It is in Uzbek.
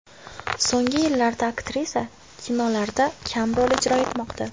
So‘nggi yillarda aktrisa kinolarda kam rol ijro etmoqda.